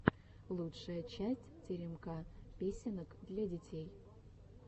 лучшая часть теремка песенок для детей